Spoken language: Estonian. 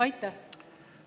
Aitäh!